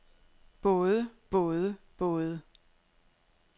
både både både